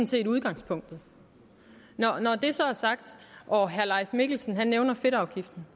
set udgangspunktet når det så er sagt og herre leif mikkelsen nævner fedtafgiften